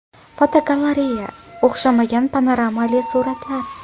Fotogalereya: O‘xshamagan panoramali suratlar.